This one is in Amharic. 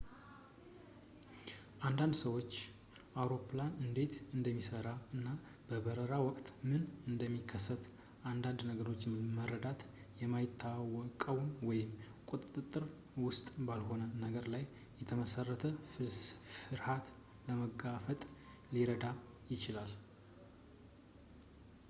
ለአንዳንድ ሰዎች አውሮፕላን እንዴት እንደሚሰራ እና በበረራ ወቅት ምንም እንደሚከሰት አንዳንድ ነገርን መረዳት በማይታወቀው ወይም ቁጥጥር ውስጥ ባልሆነ ነገር ላይ የተመሰረተ ፍርሃትን ለመጋፈጥ ሊረዳ ይችላል